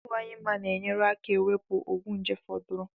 Adiwanyehi mma na enyere aka ewepu ogwu nje foduru